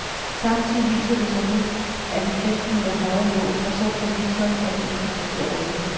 Samtidig viser det sig nu, at den femten meter høje nål er så forvitret, at den ikke står til at redde.